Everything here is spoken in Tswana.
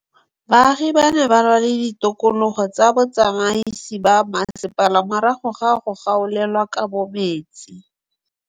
Baagi ba ne ba lwa le ditokolo tsa botsamaisi ba mmasepala morago ga go gaolelwa kabo metsi